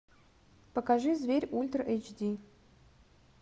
покажи зверь ультра эйч ди